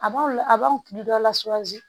A b'aw la a b'a hakili dɔ lasɔrɔ